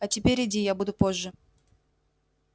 а теперь иди я буду позже